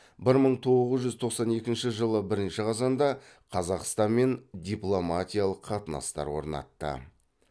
бір мың тоғыз жүз тоқсан екінші жыды бірінші қазанда қазақстанмен дипломатиялық қатынастар орнатты